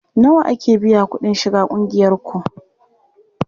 Nawa ake biya kuɗin shiga ƙungiyarku?